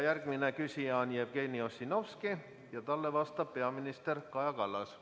Järgmine küsija on Jevgeni Ossinovski ja talle vastab peaminister Kaja Kallas.